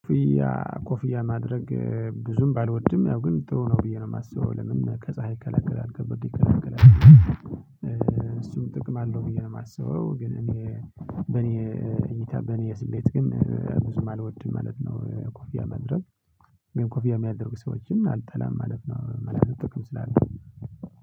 ኮፍያ ኮፍያ ማድረግ ብዙም ባልወድም ያው ግን ጥሩ ነው ብዬ ነው የማስበው ለምን ከፀሀይ ይከላከላል ከብርድ ይከላከላል። እሱን ጥቅም አለው ብዬ ነው የማስበው። ግን እኔ በኔ እኔ በኔ ስሌት ግን ብዙ አልወድም ማለት ነው። ኮፊያ ማድረግ ግን ኮፊያ የሚያደርጉ ሰዎችን አልጠላም ማለት ነው። መላእክት ጥቅም ስላለ